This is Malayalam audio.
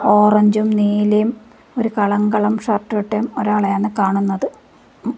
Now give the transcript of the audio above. ഓറഞ്ചും നീലയും ഒരു കളം-കളം ഷർട്ടിട്ട് ഒരാളെയാണ് കാണുന്നത്.